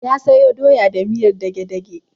Ya sayo doya da miyar dage-dage.